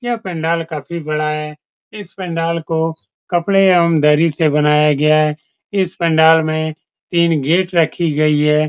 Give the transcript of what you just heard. यह पंडाल का भी बड़ा है इस पंडाल को कपड़े एवं दरी से बनाया गया है इस पंडाल में तीन गेट रखी गई है।